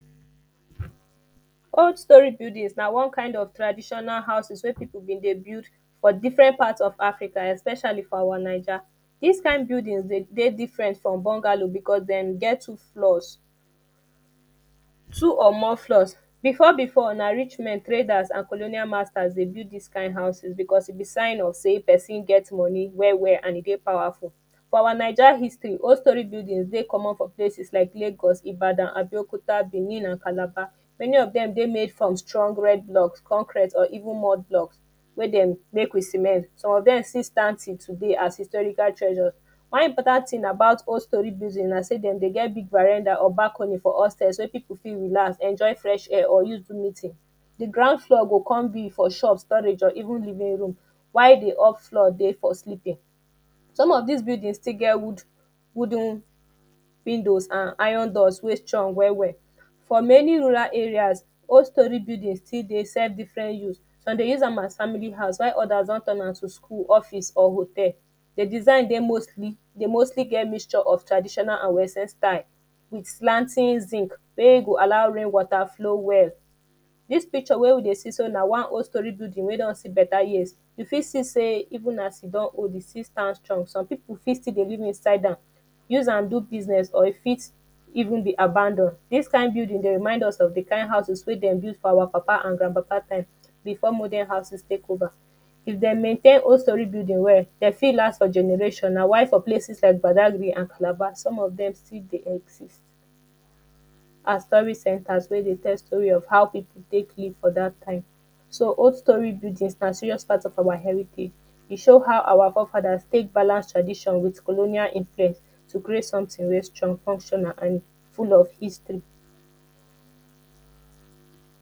Old storey buildings na one kind of traditional houses wey people dem dey build for different part of africa especially for our naija. Dis kind building dey dey different from bungalow because dem get two floors, two or more floors. Before before na rich men, traders and colonial masters dey build dis kind houses because e be sign of sey person get money well well and e dey powerful. For our naija history, old storey building dey common for places like lagos, ibadan, abeokuta, benin and calabar. Many of dem dey made from strong red block, concrete or even mud block wey dem make with cement. Some of dem still stand till today as historical treasure. One important about old storey building na sey dem dey get people around am or balcony for upstair wey people fit relax, enjoy fresh air or use do meeting. The ground floor go con be for shop, storage or even the main room while the upfloor dey for sleeping. Some of des buildings still get wood wooden windows and iron doors wey strong well well. For many rural areas, old storey buildings still dey serve different use. Some dey use am as family house while others don turn to school, office or hotal. The design dey mostly, dey mostly get mixture of traditional and recent time. The slanty zinc wey e go allow make water flow well. Dis picture wey you dey see so na one old storey building wey don see better years. You fit see sey even as e don old, e still have strength. SOme people fit still dey live inside am. use am do business or e fit even be abandon. Dis kind building dey remind us of the kind houses wey dem build for our papa and grandpapa time before modern houses take over. If dem maintain old storey building well, de fit last for generation. Na why some places like badagry and calabar, some of dem still dey exist as torist centre wey dey tell story of how people take live for dat time. So old storey buildings na serious part of our heritage. E show how our fore-fathers take balance tradition with colonial influence to create something wey strong, functional and full of histry.